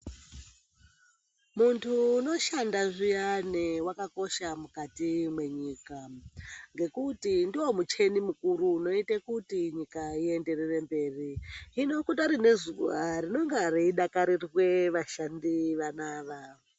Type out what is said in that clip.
Muntu unoshanda zviane akakosha mukati menyika ngekuti ndiwo mucheni mukuru unoite kuti nyika ienderere mberi, zvino kudare nezuva rinonga reidakarirwe vashandi vano ava.